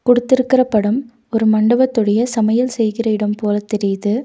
குடுத்திருக்கிற படம் ஒரு மண்டபத்துடைய சமையல் செய்கிற இடம் போல தெரிது.